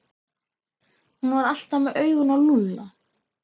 Hún var alltaf með augun á Lúlla.